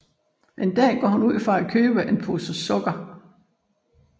En dag går hun ud for at købe en pose sukker